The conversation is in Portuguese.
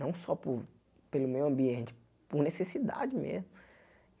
Não só por pelo meio ambiente, por necessidade mesmo.